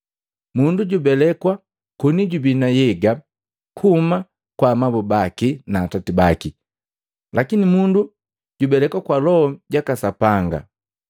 Mundu jubelekwa koni jubii na nhyega kuhuma kwa amabu baki na atati baki, lakini mundu jubelekwa loho kwa loho jaka Sapanga.